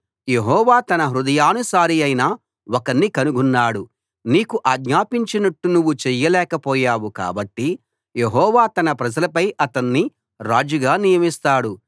యెహోవా తన హృదయానుసారియైన ఒకణ్ణి కనుగొన్నాడు నీకు ఆజ్ఞాపించినట్టు నువ్వు చెయ్యలేకపోయావు కాబట్టి యెహోవా తన ప్రజలపై అతణ్ణి రాజుగా నియమిస్తాడు